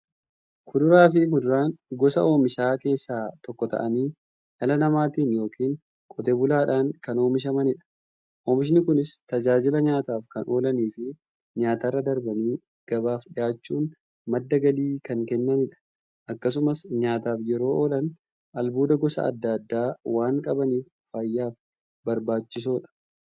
Kuduraafi muduraan gosa oomishaa keessaa tokko ta'anii, dhala namaatin yookiin Qotee bulaadhan kan oomishamaniidha. Oomishni Kunis, tajaajila nyaataf kan oolaniifi nyaatarra darbanii gabaaf dhiyaachuun madda galii kan kennaniidha. Akkasumas nyaataf yeroo oolan, albuuda gosa adda addaa waan qabaniif, fayyaaf barbaachisoodha.